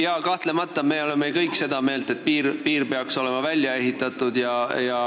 Jaa, kahtlemata, me oleme kõik seda meelt, et piir peab olema välja ehitatud.